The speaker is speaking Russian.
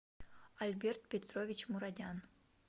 альберт петрович мурадян